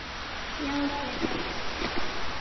Já, frekar.